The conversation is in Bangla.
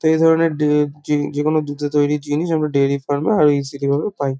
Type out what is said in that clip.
এই ধরনের ডে যে যেকোনো দুধের তৈরী জিনিস আমরা ডাইরী ফার্ম -এ আর.ই.সি.টি ভাবে পাই।